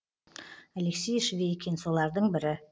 алексей швейкин солардың бірі